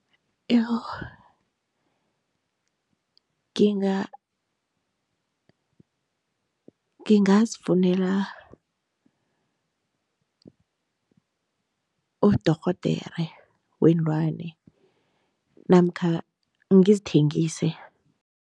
Iyo ngingazifunela udorhodere weenlwane namkha ngizithengise.